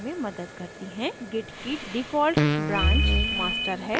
git की default branch master है